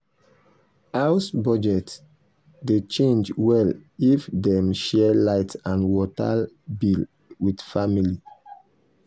house budget dey change well if dem share light and water bill with family.